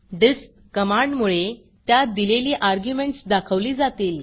डिस्प डिस्प कमांडमुळे त्यात दिलेली अर्ग्युमेंटस दाखवली जातील